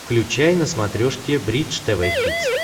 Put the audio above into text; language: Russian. включай на смотрешке бридж тв хитс